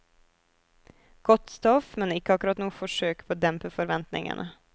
Godt stoff, men ikke akkurat noe forsøk på å dempe forventningene.